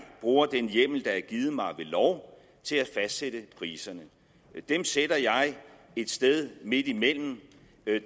bruger den hjemmel der er givet mig ved lov til at fastsætte priserne dem sætter jeg et sted midt imellem